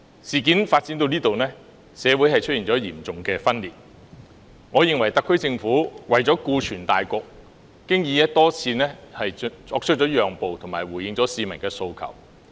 事件至此，社會已出現嚴重分裂，我認為特區政府為了顧全大局，已經多次作出讓步及回應市民的訴求。